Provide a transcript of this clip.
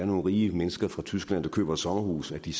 nogle rige mennesker fra tyskland der køber et sommerhus vil de